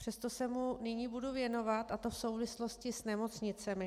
Přesto se mu nyní budu věnovat, a to v souvislosti s nemocnicemi.